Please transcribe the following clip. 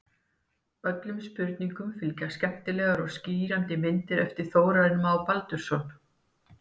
Öllum spurningum fylgja skemmtilegar og skýrandi myndir eftir Þórarinn Má Baldursson.